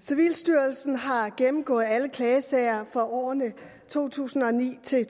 civilstyrelsen har gennemgået alle klagesager for årene to tusind og ni til